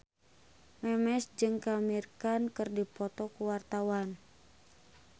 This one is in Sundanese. Memes jeung Amir Khan keur dipoto ku wartawan